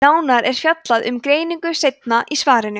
nánar er fjallað um greiningu seinna í svarinu